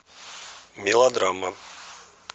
мелодрама